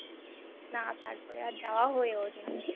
না তারপরে আর যাওয়া হয়ে ওঠেনি